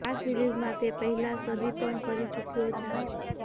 આ સિરિઝમાં તે પહેલા સદી પણ કરી ચુક્યો છે